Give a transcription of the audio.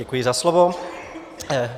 Děkuji za slovo.